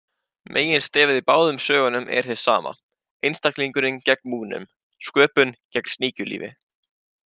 Meginstefið í báðum sögunum er hið sama, einstaklingurinn gegn múgnum, sköpun gegn sníkjulífi.